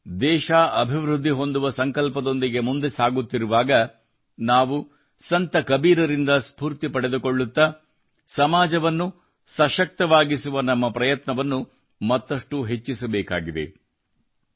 ಇಂದು ದೇಶ ಅಭಿವೃದ್ಧಿ ಹೊಂದುವ ಸಂಕಲ್ಪದೊಂದಿಗೆ ಮುಂದೆ ಸಾಗುತ್ತಿರುವಾಗ ನಾವು ಸಂತ ಕಬೀರರಿಂದ ಸ್ಫೂರ್ತಿ ಪಡೆದುಕೊಳ್ಳುತ್ತಾ ಸಮಾಜವನ್ನು ಸಶಕ್ತವಾಗಿಸುವ ನಮ್ಮ ಪ್ರಯತ್ನವನ್ನು ಮತ್ತಷ್ಟು ಹೆಚ್ಚಿಸಬೇಕಾಗಿದೆ